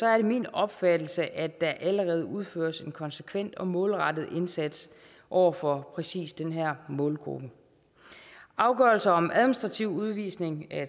er det min opfattelse at der allerede udføres en konsekvent og målrettet indsats over for præcis den her målgruppe afgørelser om administrativ udvisning